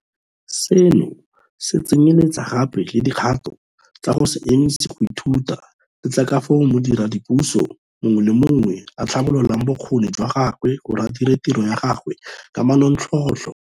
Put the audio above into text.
Seno se tsenyeletsa gape le dikgato tsa go se emise go ithuta le tsa ka fao modiredipuso mongwe le mongwe a tlhabololang bokgoni jwa gagwe gore a dire tiro ya gagwe ka manontlhotlho.